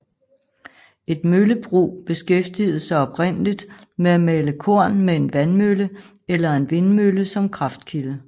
Et møllebrug beskæftigede sig oprindeligt med at male korn med en vandmølle eller en vindmølle som kraftkilde